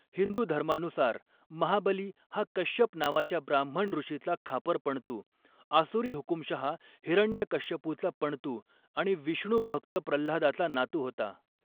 हिंदू धर्मानुसार, महाबली हा कश्यप नावाच्या ब्राह्मण ऋषीचा खापर पणतू, आसुरी हुकूमशहा हिरण्यकश्यपूचा पणतू आणि विष्णू भक्त प्रह्लादाचा नातू होता.